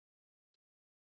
En svo varð ekki.